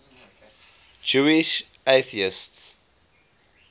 jewish atheists